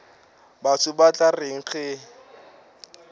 batho ba tla reng ge